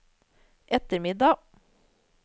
ettermiddag